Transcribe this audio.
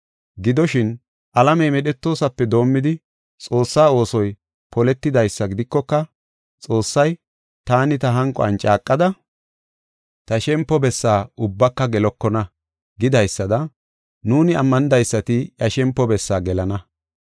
Gidoshin, alamey medhetoosape doomidi Xoossaa oosoy poletidaysa gidikoka, Xoossay, “Taani ta hanquwan caaqada, ta shempo bessaa ubbaka gelokona” gidaysada, nuuni ammanidaysati iya shempo bessaa gelana.